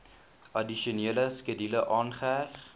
addisionele skedule aangeheg